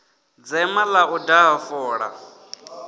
dzema ḽa u daha fola